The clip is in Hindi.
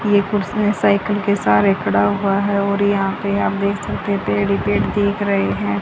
एक पुरुष ने साइकिल के सहारे खड़ा हुआ है और यहां पे आप देख सकते पेड़ ही पेड़ दिख रहे है।